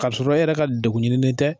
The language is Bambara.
Ka sɔrɔ e yɛrɛ ka dekun ɲininen tɛ.